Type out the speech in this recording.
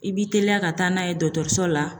I b'i teliya ka taa n'a ye dɔgɔtɔrɔso la